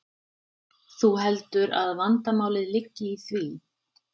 Þú heldur að vandamálið liggi í því?